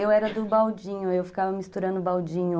Eu era do baldinho, eu ficava misturando o baldinho...